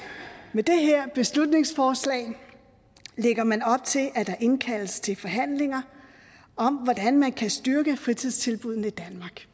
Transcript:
med det her beslutningsforslag lægger man op til at der indkaldes til forhandlinger om hvordan man kan styrke fritidstilbuddene